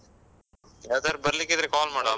ಯಾವತ್ತಾದ್ರೂ ಬರ್ಲಿಕ್ಕ್ ಇದ್ರೆ call ಮಾಡು.